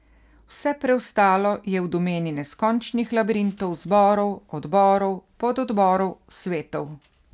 Vse preostalo je v domeni neskončnih labirintov zborov, odborov, pododborov, svetov ...